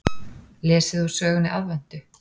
Lesið úr sögunni Aðventu.